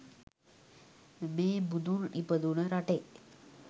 මේ බුදුන් ඉපදුන රටේ